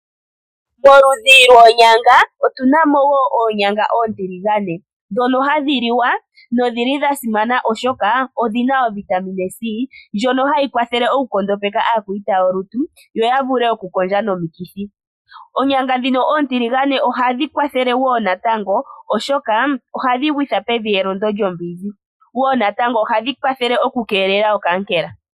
Moludhi lwoonyanga omuna woo oonyanga oontiligane ndhono hadhi li wa. Odhasimana oshoka odhina ovitamine c ndjono hayi kwathele okukondopeka aakwayita yolutu, ya vule okukondja nomikithi. Ohadhi kwathele okugwitha pevi elondo lyombinzi nohadhi keelele okaankela.